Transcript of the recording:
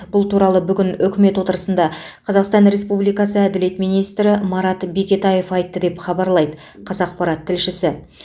бұл туралы бүгін үкімет отырысында қазақстан республикасы әділет министрі марат бекетаев айтты деп хабарлайды қазақпарат тілшісі